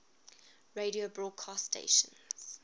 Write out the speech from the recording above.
radio broadcast stations